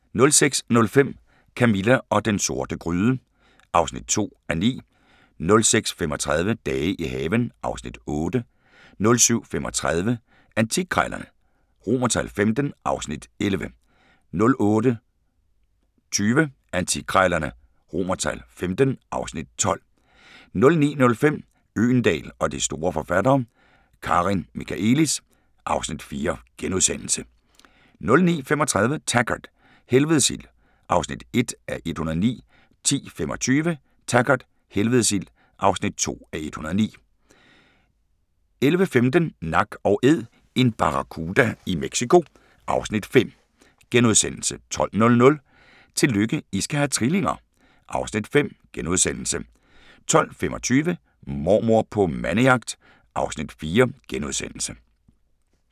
06:05: Camilla og den sorte gryde (2:9) 06:35: Dage i haven (Afs. 8) 07:35: Antikkrejlerne XV (Afs. 11) 08:20: Antikkrejlerne XV (Afs. 12) 09:05: Øgendahl og de store forfattere: Karin Michaëlis (Afs. 4)* 09:35: Taggart: Helvedes ild (1:109) 10:25: Taggart: Helvedes ild (2:109) 11:15: Nak & Æd – en barracuda i Mexico (Afs. 5)* 12:00: Tillykke, I skal have trillinger! (Afs. 5)* 12:25: Mormor på mandejagt (Afs. 4)*